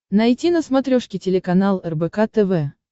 найти на смотрешке телеканал рбк тв